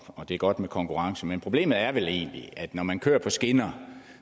og det er godt med konkurrence men problemet er vel egentlig at når man kører på skinner